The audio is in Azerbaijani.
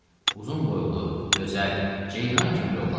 Uzun boylu, gözəl, Ceyran kimi bir oğlan idi.